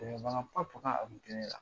Cɛya bana fura